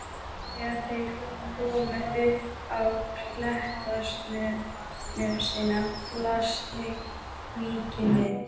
Þegar þeir komu upp á klettasnösina blasti víkin við.